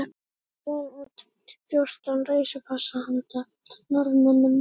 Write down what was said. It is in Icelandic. Einnig gaf Jón út fjórtán reisupassa handa Norðmönnum